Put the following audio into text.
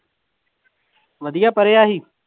ਵਧੀਆ ਪੜ੍ਹਿਆ ਸੀ?